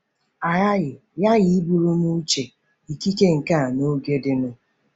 A ghaghị ghaghị iburu n'uche ikike, nkà na oge dịnụ.